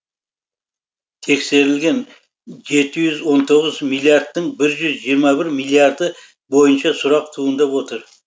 тексерілген жеті жүз он тоғыз миллиардтың бір жүз жиырма бір миллиарды бойынша сұрақ туындап отыр